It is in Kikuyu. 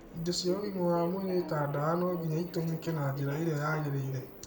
Indo cia ũgima wa mwĩrĩ ta ndawa no nginya itũmĩke na njĩra ĩrĩa yagĩrĩire.